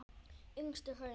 Yngstu hraun